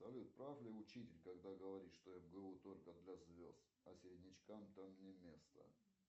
салют прав ли учитель когда говорит что мгу только для звезд а середнячкам там не место